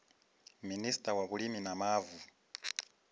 minista wa vhulimi na mavu